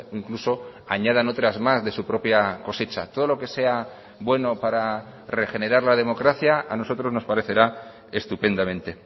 incluso añadan otras más de su propia cosecha todo lo que sea bueno para regenerar la democracia a nosotros nos parecerá estupendamente